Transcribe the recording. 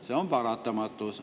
See on paratamatus.